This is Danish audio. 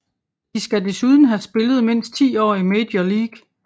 De skal desuden have spillet mindst 10 år i Major League